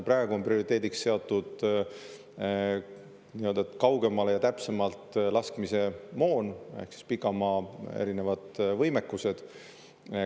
Praegu on prioriteediks seatud kaugemale ja täpsemalt laskmise moon ehk erinevad pikamaavõimekused.